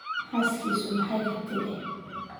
Xaaskiisu maxay ka tidhi?